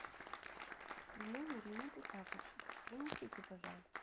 в номере нету тапочек принесите пожалуйста